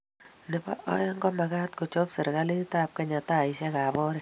nebo aeng, komagaat kochop serikalitab Kenya taishekab oret